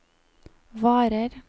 varer